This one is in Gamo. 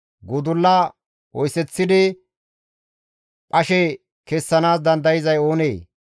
Gudulla oyseththidi phashe kessanaas dandayzay oonee?